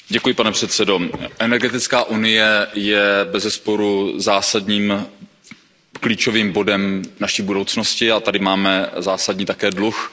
Pane předsedající, energetická unie je bezesporu zásadním klíčovým bodem naší budoucnosti a tady máme zásadní také dluh.